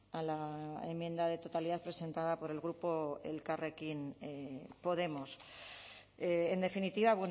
a la enmienda de totalidad presentada por el grupo elkarrekin podemos en definitiva